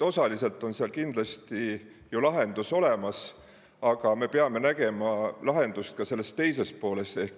Osaliselt on seal kindlasti ju lahendus olemas, aga me peame nägema lahendust ka selles teises pooles.